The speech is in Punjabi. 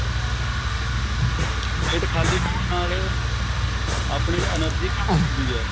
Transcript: ਪੇਟ ਖਾਲੀ ਹੋਣ ਨਾਲ ਆਪਣੀ energy ਘੱਟ ਹੁੰਦੀ ਐ